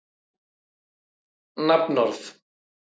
Þessar niðurstöður koma heim og saman við erlendar mælingar.